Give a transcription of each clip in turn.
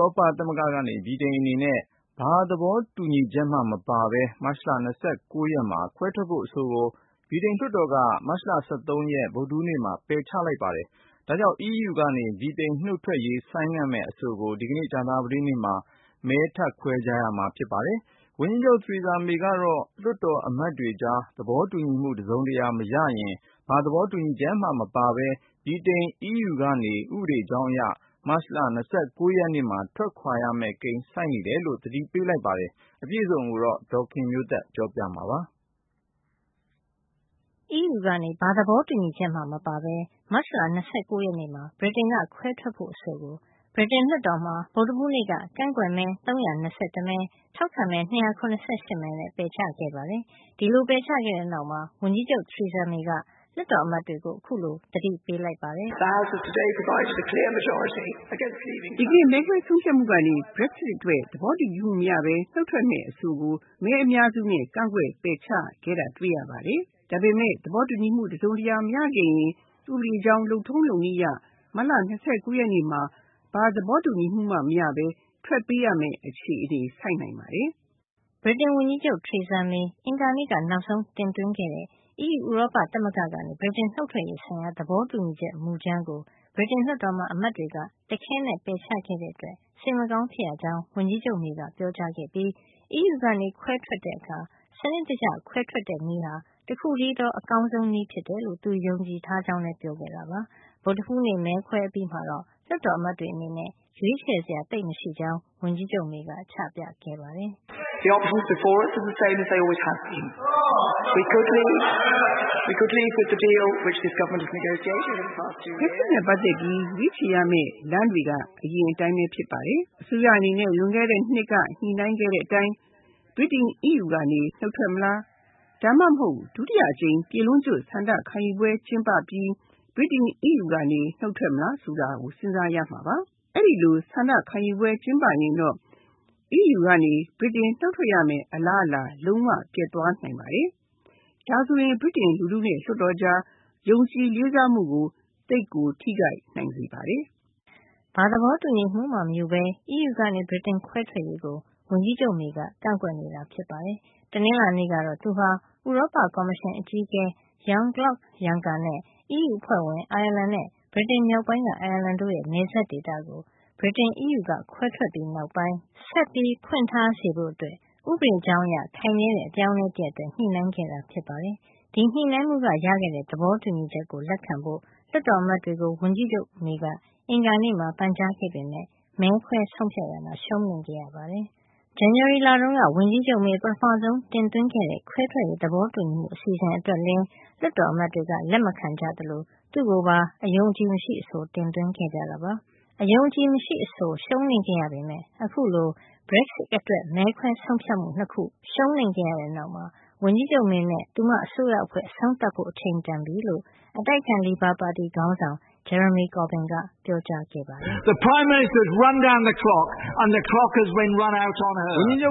ရောပ သမဂ္ဂကနေ ဗြိတိန်အနေနဲ့ ဘာသဘောတူညီချက်မှ မပါဘဲ မတ်လ ၂၉ ရက်မှာ ခွဲထွက်ဖို့ အဆိုကို ဗြိတိန်လွှတ်တော်က မတ်လ ၁၃ ရက် ဗုဒ္ဓဟူးနေ့မှာ ပယ်ချခဲ့ပါတယ်။ ဒါကြောင့် အီးယူကနေ ဗြိတိန်နုတ်ထွက်ရေး ဆိုင်းငံ့မယ့်အဆိုကို ဒီကနေ့ ကြာသပတေးနေ့မှာ မဲထပ်ခွဲကြမှာ ဖြစ်ပါတယ်။ ဝန်ကြီးချုပ် Theresa May ကတော့ လွှတ်တော်အမတ်တွေကြား သဘောတူညီမှု တစုံတရာမရရင် ဘာသဘောတူညီချက်မှ မပါဘဲ ဗြိတိန် အီးယူူကနေ ဥပဒေကြောင်းအရ မတ်လ ၂၉ ရက်မှာ ထွက်ခွါရမယ့်ကိန်း ဆိုက်နိုင်တယ်လို့ သတိပေးလိုက် ပါတယ်။ အပြည့်အစုံကို ဒေါ်ခင်မျိုးသက်က ပြောပြပေးမှာပါ။ အီးယူကနေ ဘာသဘောတူညီချက် မှမပါဘဲ မတ်လ ၂၉ ရက်မှာ ဗြိတိန်က ခွဲထွက်ဖို့ အဆိုကို ဗြိတိန်လွှတ်တော်မှာ ဗုဒ္ဓဟူးနေ့က ကန့်ကွက်မဲ ၃၂၁ မဲ ထောက်ခံမဲ ၂၇၈ မဲနဲ့ ပယ်ချခဲ့ပါတယ်။ ဒီလို ပယ်ချခဲ့တဲ့နောက်မှာ ဝန်ကြီးချုပ် Theresa May က လွှတ်တော်အမတ်တွေကို အခုလို သတိပေးလိုက်ပါတယ်။ “ ဒီကနေ့ မဲခွဲဆုံးဖြတ်မှုကနေ Brexit အတွက် သဘောတူညီမှုမရဘဲ နုတ်ထွက်မယ့် အဆိုကို မဲအများစုနဲ့ ကန့်ကွက် ပယ်ချခဲ့တာ ဖြစ်ပါတယ်။ ဒါပေမယ့် ဒီကြားမှာ လွှတ်တော်အမတ်တွေကြား သဘောတူညီမှု တစုံတရာ မရခဲ့ရင်တော့ ဥပဒေကြောင်း လုပ်ထုံးလုပ်နည်းအရ မတ်လ ၂၉ ရက်နေ့မှာ ဘာသဘောတူညီမှုမှ မရဘဲ ထွက်ပေးရမယ့် အခြေဆိုက်သွားနိုင်ပါတယ်။” ဗြိတိန်ဝန်ကြီးချုပ် Theresa May အင်္ဂါနေ့က နောက်ဆုံးတင်သွင်းခဲ့တဲ့ အီးယူ ဥရောပသမဂ္ဂကနေ ဗြိတိန်နုတ်ထွက်ရေး ဆိုင်ရာ သဘောတူညီချက် မူကြမ်းကို ဗြိတိန်လွှတ်တော်မှာ အမတ်တွေက တခဲနက် ပယ်ချခဲ့တဲ့အတွက် စိတ်မကောင်း ဖြစ်ရကြောင်း ဝန်ကြီးချုပ် May က ပြောကြားခဲ့ပြီး အီးယူကနေ ခွဲထွက်တဲ့အခါ စနစ်တကျ ခွဲထွက်တဲ့နည်းဟာ တခုတည်းသော အကောင်းဆုံးနည်း ဖြစ်တယ်လို့ သူယုံကြည်ထား ကြောင်းလည်း ပြောခဲ့တာပါ။ ဗုဒ္ဓဟူးနေ့ မဲခွဲ အပြီးမှာတော့ လွှတ်တော်အမတ်တွေ အနေနဲ့ ရွေးချယ်စရာ သိပ်မရှိကြောင်း ဝန်ကြီးချုပ် May က ချပြခဲ့ပါတယ်။ " Brexit နဲ့ ပတ်သက်ပြီး ရွေးချယ်ရမယ့် လမ်းတွေက အရင်က အတိုင်းလည်း ဖြစ်နိုင်ပါတယ်။ လွန်ခဲ့တဲ့ ၂ နှစ်က ညှိနှိုင်းခဲ့တဲ့ သဘောတူညီမှု နဲ့ပဲ အီးယူကနေ ဗြိတိန်နုတ်ထွက်မလား၊ ဒါမှမဟုတ် ဒုတိယအကြိမ် ပြည်လုံးကျွတ် ဆန္ဒခံယူပွဲ ကျင်းပပြီး ဗြိတိန် အီးယူက ထွက်မလား စဉ်းစားရမှာပါ။ အဲဒီလိုဆန္ဒခံယူ ရင်တော့ Brexit နုတ်ထွက်ရမယ့် အလားအလာ ပျက်သွားနိုင်ပါတယ်။ အဲဒါဆိုရင် ဗြိတိန်လူထုနဲ့ လွှတ်တော်ကြား ယုံကြည်လေးစားမှုကို ထိခိုက်မှုတွေ ဖြစ်လာနိုင်ပါတယ်။” ဘာသဘောတူညီမှုမှ မယူဘဲ အီးယူကနေ ဗြိတိန်ခွဲထွက်ရေးကို ဝန်ကြီးချုပ် Theresa May က ကန့်ကွက်နေတာ ဖြစ်ပါတယ်။ တနင်္လာနေ့ကတော့ သူဟာ ဥရောပကော်မရှင် အကြီးအကဲ Jean-Claude Juncker နဲ့ အီးယူအဖွဲ့ဝင် အိုင်ယာလန်နဲ့ ဗြိတိန်မြောက်ပိုင်းက အိုင်ယာလန်တို့ရဲ့ နယ်စပ်ဒေသကို ဗြိတိန်-အီးယူက ခွဲထွက်ပြီးနောက်ပိုင်း ဆက်ပြီးဖွင့်ထား စေဖို့အတွက် ဥပဒေကြောင်းအရ ခိုင်မြဲတဲ့ အပြောင်းအလဲ တရပ်အတွက် ညှိနှိုင်းခဲ့တာဖြစ်ပါတယ်။ ဒီညှိနှိုင်းမှုက ရခဲ့တဲ့ သဘောတူညီချက်ကို လက်ခံဖို့ လွှတ်တော်အမတ်တွေကို ဝန်ကြီးချုပ် May က အင်္ဂါနေ့မှာ ပန်ကြားခဲ့ပေမယ့် မဲခွဲဆုံးဖြတ်ရာမှာ ရှုံးနိမ့်ခဲ့ရပါတယ်။ ဇန်နဝါရီလတုန်းက ဝန်ကြီးချုပ် May ပထမဆုံး တင်သွင်းခဲ့တဲ့ ခွဲထွက်ရေး သဘောတူညီမှု အစီအစဉ်အတွက် လည်း လွှတ်တော်အမတ် တွေက လက်မခံခဲ့ကြသလို သူ့ကိုပါ အယုံအကြည်မရှိ အဆိုတင်သွင်းခဲ့ကြတာပါ။ အယုံအကြည်မရှိ အဆိုရှုံးနိမ့်ခဲ့ရပေမယ့် အခုလို Brexit အတွက် မဲခွဲဆုံးဖြတ်မှု ၂ ခု ရှုံးနိမ့်ခဲ့ရတဲ့နောက်မှာ ဝန်ကြီးချုပ် May နဲ့ သူမအစိုးရအဖွဲ့ အဆုံးသတ်ဖို့ အချိန်တန်ပြီလို့ အတိုက်အခံ လေဘာပါတီခေါင်းဆောင် Jeremy Corbyn က ပြောကြားခဲ့ပါတယ်။ " ဝန်ကြီးချုပ်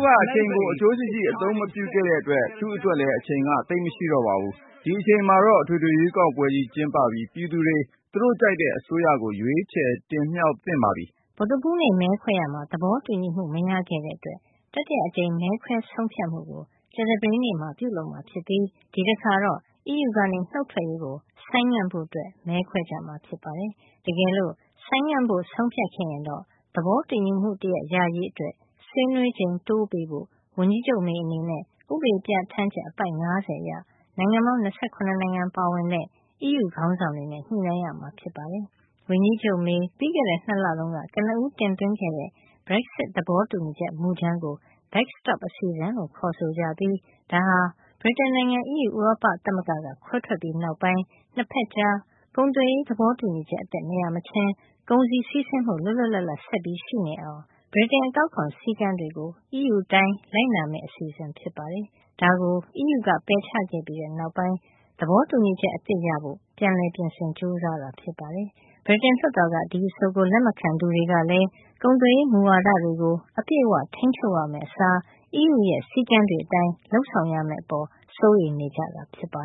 က အချိန်ကို အကျိုးရှိရှိ အသုံးမပြုခဲ့တဲ့အတွက် သူ့အတွက်လည်း အချိန်က သိပ်မရှိတော့ပါဘူး။ ဒီအချိန်မှာတော့ အထွေထွေ ရွေးကောက်ပွဲကြီး ကျင်းပပြီး ပြည်သူတွေ သူတို့ကြိုက်တဲ့ အစိုးရကို ရွေးကောက် တင်မြှောက်သင့်ပါပြီ။ ” ဗုဒ္ဓဟူးနေ့ မဲခွဲရာမှာ သဘောတူညီမှု မရခဲ့တဲ့အတွက် တတိယအကြိမ် မဲခွဲဆုံးဖြတ်မှုကို ကြာသပတေးနေ့မှာ ပြုလုပ်မှာဖြစ်ပြီး ဒီတခါတော့ အီးယူကနေနုတ်ထွက်ရေးကို ဆိုင်းငံ့ဖို့ မဲခွဲကြမှာ ဖြစ်ပါတယ်။ တကယ်လို့ ဆိုင်းငံ့ဖို့ ဆုံးဖြတ်ခဲ့ရင်တော့ သဘောတူညီမှု တရပ်ရရေး အတွက် ဆွေးနွေးချိန် တိုးပေးဖို့ ဝန်ကြီးချုပ် May အနေနဲ့ ဥပဒေပြဌာန်းချက် အပိုဒ် ၅၀ အရ နိုင်ငံပေါင်း ၂၇ နိုင်ငံပါဝင်တဲ့ အီးယူက ခေါင်းဆောင်တွေနဲ့ ညှိနှိုင်းရမှာ ဖြစ်ပါတယ်။ ဝန်ကြီးချုပ် May ပြီးခဲ့တဲ့ ၂ လတုန်းက ကနဦးတင်သွင်းခဲ့တဲ့ Brexit သဘောတူညီချက် မူကြမ်းကို Backstop အစီအစဉ်လို့ ခေါ်ဆိုကြပြီး ဒါဟာ ဗြိတိန်နိုင်ငံ အီးယူ ဥရောပသမဂ္ဂကနေ ခွဲထွက်ပြီး နောက်ပိုင်း ၂ ဖက်ကြား ကုန်သွယ်ရေး သဘောတူညီချက် အသစ် မရမချင်း ကုန်စည်စီးဆင်းမှု လွတ်လွတ်လပ်လပ် ဆက်ပြီး ရှိနေအောင် ဗြိတိန် အကောက်ခွန် စည်းကမ်း တွေကို အီးယူအတိုင်း လိုက်နာမယ့် အစီအစဉ်ဖြစ်ပါတယ်။ ဒါကို အီးယူက ပယ်ချခဲ့ပြီးတဲ့နောက်ပိုင်း သဘောတူညီချက် အသစ်ရဖို့ ပြန်လည်ပြင်ဆင်ဖို့ ကြိုးစားတာ ဖြစ်ပါတယ်။ ဗြိတိန်လွှတ်တော်က ဒီအဆိုကို လက်မခံသူတွေကလည်း ကုန်သွယ်ရေး မူဝါဒတွေကို အပြည့်အဝ ထိန်းချုပ်ရမယ့်အစား အီးယူရဲ့ စည်းကမ်းတွေ အတိုင်း လုပ်ဆောင်ရမယ့်အပေါ် စိုးရိမ်နေကြတာဖြစ်ပါ